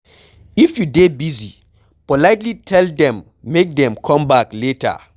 if you dey busy, politely tell them make dem come back later